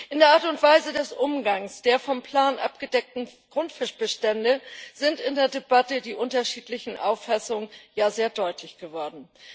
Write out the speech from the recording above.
In der Art und Weise des Umgangs der vom Plan abgedeckten Grundfischbestände sind in der Debatte die unterschiedlichen Auffassungen sehr deutlich geworden.